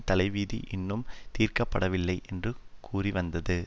தலைவிதி இன்னும் தீர்க்க படவில்லை என்று கூறிவந்தது